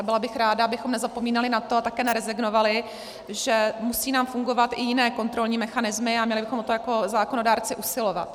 A byla bych ráda, abychom nezapomínali na to, a také nerezignovali, že nám musí fungovat i jiné kontrolní mechanismy, a měli bychom o to jako zákonodárci usilovat.